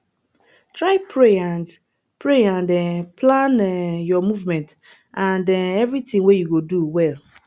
try pray and pray and um plan um your movement and um everything wey you go do well